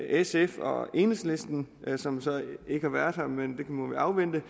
sf og enhedslisten som så ikke har været her men det må vi afvente